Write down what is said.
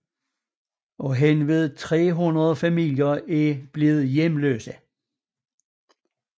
Henved 300 familier er blevet hjemløse